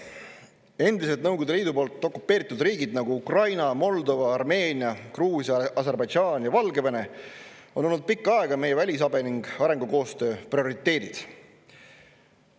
Endised Nõukogude Liidu poolt okupeeritud riigid, nagu Ukraina, Moldova, Armeenia, Gruusia, Aserbaidžaan ja Valgevene, on olnud pikka aega meie välisabi ning arengukoostöö prioriteedid.